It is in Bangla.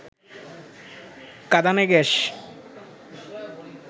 কাঁদানে গ্যাস